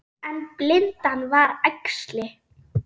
En blindan var æxli.